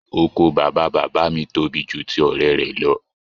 Oko bàbá bàbá mi tóbi jù ti ọrẹ rẹ lọ.